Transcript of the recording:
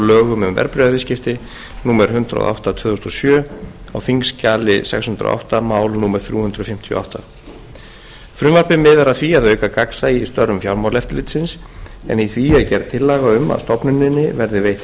lögum um verðbréfaviðskipti númer hundrað og átta tvö þúsund og sjö á þingskjali sex hundruð og átta mál númer þrjú hundruð fimmtíu og átta frumvarpið miðar að því að auka gagnsæi í störfum fjármálaeftirlitsins en í því er gerð tillaga um að stofnuninni verði veitt heimild